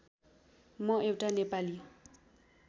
म एउटा नेपाली